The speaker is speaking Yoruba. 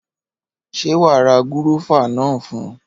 Ṣé wa ra gúrọ́fà náà fún?